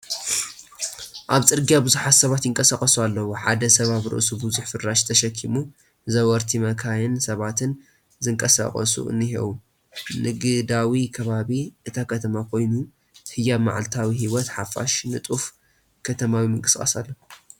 ኣብ ጽርግያ ብዙሓት ሰባት ይንቀሳቐሱ ኣለዉ። ሓደ ሰብ ኣብ ርእሱ ብዙሕ ፍራሽ ተሰኪሙ፣ ዘወርቲ፡ መካይንን ሰባትን ዝንቀሳቐሱ እንሄው። ንግዳዊ ከባቢ እታ ከተማ ኮይኑ፡ ህያው መዓልታዊ ህይወት ሓፋሽ ንጡፍ ከተማዊ ምንቅስቓስ ኣሎ፡፡